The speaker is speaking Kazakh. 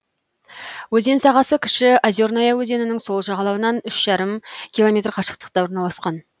өзен сағасы кіші озерная өзенінің сол жағалауынан үш жарым километр қашықтықта орналасқан